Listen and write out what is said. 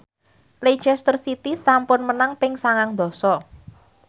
Leicester City sampun menang ping sangang dasa